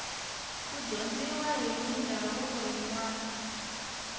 ku dyondziwa mindhavuko yinwani